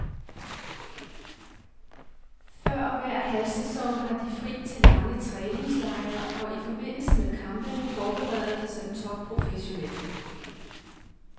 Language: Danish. Før hver halvsæson har de fri til lange træningslejre, og i forbindelse med kampene forbereder de sig topprofessionelt.